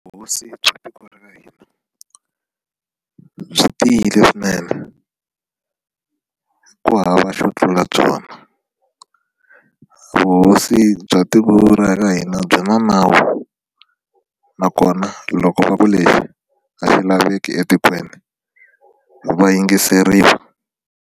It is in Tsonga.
Vuhosi bya tiko ra hina byi tiyile swinene ku hava xo tlula byona vuhosi bya tiko ra ka hina byi na nawu nakona loko va ku leswi a swi laveki etikweni va yingiseriwa.